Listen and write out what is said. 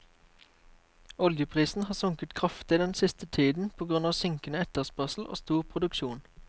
Oljeprisen har sunket kraftig den siste tiden på grunn av synkende etterspørsel og stor produksjon.